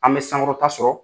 An bɛ sankɔrɔta sɔrɔ